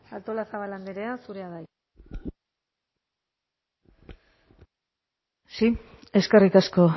artolazabal andrea zurea da hitza sí eskerrik asko